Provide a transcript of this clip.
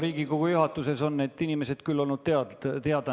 Riigikogu juhatusele on küll need inimesed olnud nimeliselt teada.